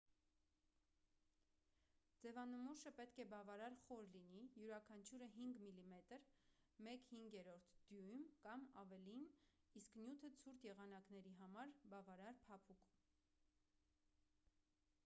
ձևանմուշը պետք է բավարար խոր լինի՝ յուրաքանչյուրը 5 մմ 1/5 դյույմ կամ ավելին իսկ նյութը ցուրտ եղանակների համար՝ բավարար փափուկ: